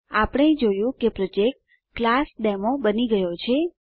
આપણે જોયું કે પ્રોજેક્ટ ક્લાસડેમો બની ગયો છે